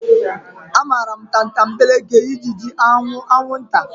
Amaara m tatambeleke, ijiji, anwụ, anwunta.